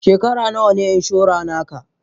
Shekara nawa ne inshora na ka?